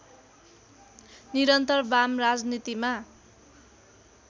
निरन्तर वाम राजनीतिमा